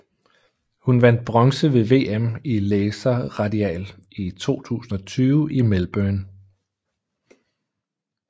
Hun vandt bronze ved VM i Laser Radial i 2020 i Melbourne